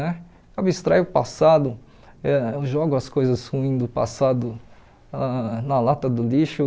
Né? Abstraio o passado, ãh eu jogo as coisas ruins do passado ãh na lata do lixo.